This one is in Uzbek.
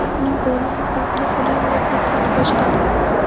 Uning o‘rniga klubni Xulen Lopetegi boshqardi.